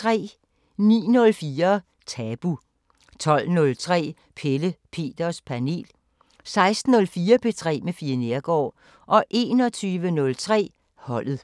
09:04: Tabu 12:03: Pelle Peters Panel 16:04: P3 med Fie Neergaard 21:03: Holdet